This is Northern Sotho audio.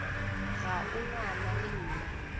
ga o ngwana le nna